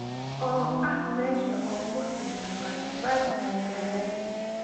oo ah meesha ugu caansan basbaaska magaalada